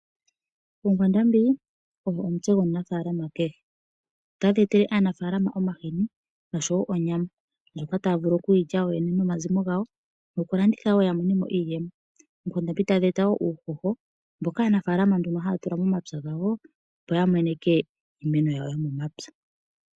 Oonkwandambi odho omutse gomunafalama kehe. Otadhi etele omunafalama omahini nosho wo oonyama, ndjoka taya vulu oku yilya yoyene nomazimo gawo noku landitha wo ya monemo iiyemo. Oonkwandambi tadhi eta woo uuhoho mboka nduno aanafalama haya tula momapya gawo opo ya meneke iimeno yawo yomomapya.